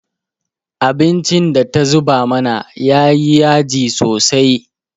Abincin da ta zuba mana ya yi yaji sosai.